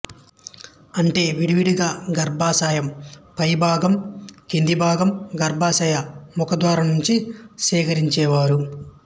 అంటే విడివిడిగా గర్భాశయం పైభాగం కిందిభాగం గర్భాశయ ముఖద్వారం నుంచి సేకరించేవారు